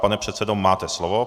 Pane předsedo, máte slovo.